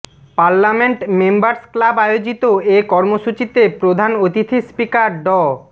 parliament members club আয়োজিত এ কর্মসূচিতে প্রধান অতিথি স্পিকার ড